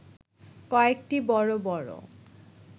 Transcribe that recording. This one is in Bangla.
কয়েকটি বড় বড়